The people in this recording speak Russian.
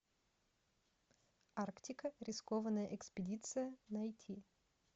арктика рискованная экспедиция найти